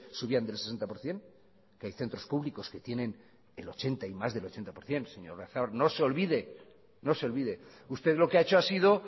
subían del sesenta por ciento que hay centros públicos que tienen el ochenta y más del ochenta por ciento señor oyarzabal no se olvide usted lo que ha hecho ha sido